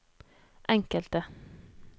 enkelte